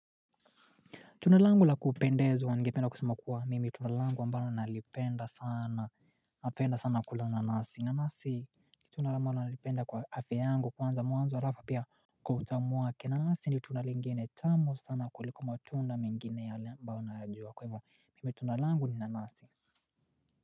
Tunda langu la kupendezwa ningependa kusema kuwa mimi tunda langu ambalo nalipenda sana napenda sana kula nanasi nanasi ni tunda ambalo nalipenda kwa afya yangu kwanza mwanzo halafu pia kwa utamu wake nanasi ni tunda lingine tamu sana kuliko matunda mengine yale ambayo nayajua kwa hivyo mimi tunda langu ni nanasi.